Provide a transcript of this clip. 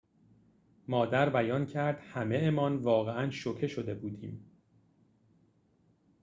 مادر بیان کرد همه‌مان واقعاً شوکه شده بودیم